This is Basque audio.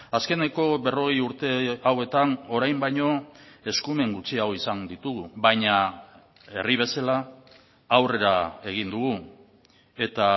azkeneko berrogei urte hauetan orain baino eskumen gutxiago izan ditugu baina herri bezala aurrera egin dugu eta